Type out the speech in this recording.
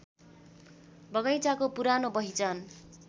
बगैंचाको पुरानो पहिचान